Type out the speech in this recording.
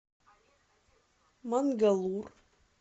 мангалур